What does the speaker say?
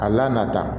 A la nata